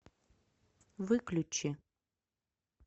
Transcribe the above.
выключи